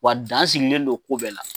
Wa dan sigilen don ko bɛɛ la.